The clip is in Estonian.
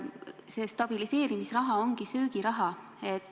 See stabiliseerimisraha ongi söögiraha.